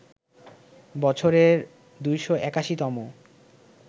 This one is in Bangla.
বছরের ২৮১ তম